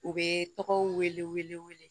U bɛ tɔgɔw wele wele wele wele